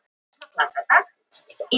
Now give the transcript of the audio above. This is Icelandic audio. SKÚLI: Á Ísafirði að sjálfsögðu.